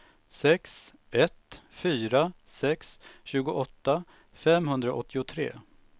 sex ett fyra sex tjugoåtta femhundraåttiotre